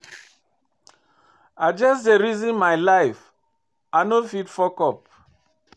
I just dey reason my life, I no fit fuck up.